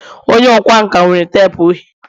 onye ọkwá nkà nwere teepu uhie